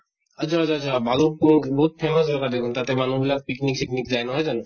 আচ্ছা আচ্ছা আচ্ছা ভালুক্পুং বিহুত famous জগা দেখোন। তাতে মানুহ বিলাক picnic চিকনিক যায়, নহয় জানো?